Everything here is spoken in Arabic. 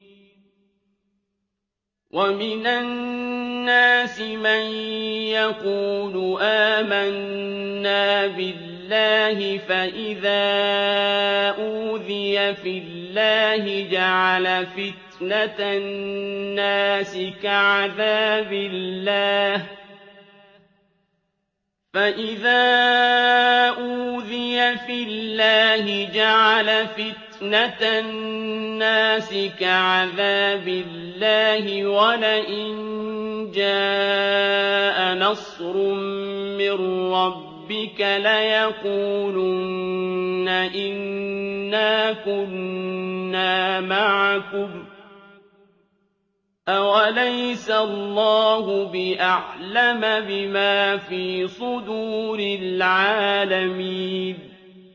وَمِنَ النَّاسِ مَن يَقُولُ آمَنَّا بِاللَّهِ فَإِذَا أُوذِيَ فِي اللَّهِ جَعَلَ فِتْنَةَ النَّاسِ كَعَذَابِ اللَّهِ وَلَئِن جَاءَ نَصْرٌ مِّن رَّبِّكَ لَيَقُولُنَّ إِنَّا كُنَّا مَعَكُمْ ۚ أَوَلَيْسَ اللَّهُ بِأَعْلَمَ بِمَا فِي صُدُورِ الْعَالَمِينَ